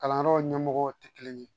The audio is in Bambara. Kalanyɔrɔ ɲɛmɔgɔw tɛ kelen ye